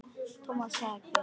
Thomas þagði.